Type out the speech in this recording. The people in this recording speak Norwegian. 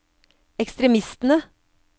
ekstremistene